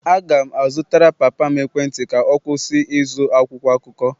Aga m azụtara papa m ekwentị ka ọ kwụsị ịzụ akwụkwọ akụkọ